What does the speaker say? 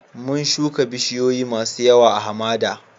Mun shuka bisiyoyi masun yawa a'hamada.